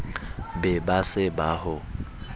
be ba se ba ho